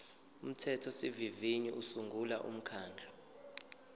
umthethosivivinyo usungula umkhandlu